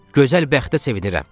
Gözəl bəxtə sevinirəm.